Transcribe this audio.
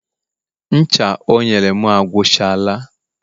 ncha o nyere m agwuchala